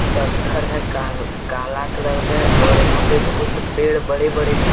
पत्थर है का काला कलर में और यहां पे बहुत पेड़ बड़े बड़े हैं।